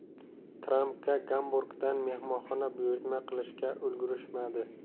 Trampga Gamburgdan mehmonxona buyurtma qilishga ulgurishmadi.